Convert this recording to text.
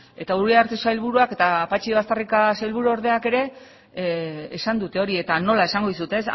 eta uriarte sailburuak eta patxi baztarrika sailburuordeak ere esan dute hori eta nola esango dizut